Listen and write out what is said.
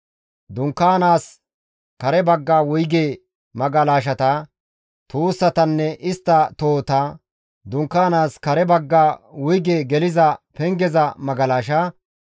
dunkaanaas kare bagga wuyge magalashata, tuussatanne istta tohota, dunkaanaas kare bagga wuyge geliza pengeza magalasha,